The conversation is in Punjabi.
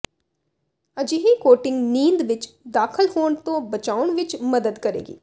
ਅਜਿਹੀ ਕੋਟਿੰਗ ਨੀਂਦ ਵਿੱਚ ਦਾਖਲ ਹੋਣ ਤੋਂ ਬਚਾਉਣ ਵਿੱਚ ਮਦਦ ਕਰੇਗੀ